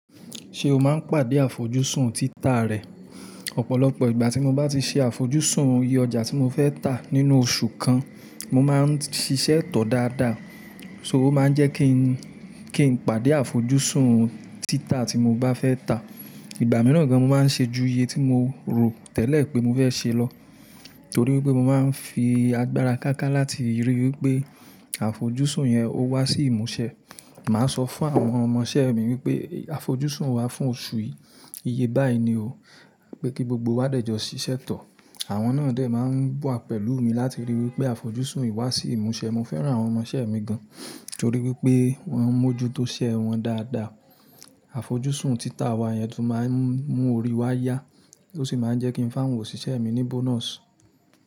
Ṣé o máa ń pàdé àfojúsùn títà rẹ? Ọ̀pọ̀lọpọ̀ ìgbà tí mo bá ti ṣe àfojúsùn iye ọjà tí mo fẹ́ tà nínú oṣù kan, mo máa ń ṣíṣe tọ dáadáa. So ó máa ń jẹ́ kí n, kí n pàdé àfojúsùn títà tí mo bá fẹ́ tà. Ìgbà mìíràn gan mo máa ń ṣe ju iye tí mo rò tẹ́lẹ̀ pé mo fẹ́ ṣe lọ. Torí wípé mo máa ń fi agbára káká láti ríi wípé àfojúsùn yẹn ó wá sí ìmúṣẹ. Màá sọ fún àwọn ọmọṣẹ́ mi wípé àfojúsùn wà fún oṣù yìí. Iye báyìí ni o. Pé kí gbogbo wa dẹ̀jọ ṣiṣẹ́ tọ. Àwọn náà dè máa ń wà pẹ̀lú mi láti rí i wípé àfojúsùn yìí wá sí ìmúṣẹ. Mo fẹ́ran àwọn ọmọṣẹ́ mi gan torí wípé wọ́n mójú tó ṣẹ́ wọn dáadáa. Àfojúsùn títà wa yẹn tún máa ń mú orí wa yá ó sì máa ń jẹ́ kí n fáwọn òṣìṣẹ́ mi ní bonus.